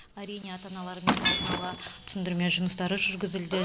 әрине ата аналармен алдын ала түсіндірме жұмыстары жүргізілді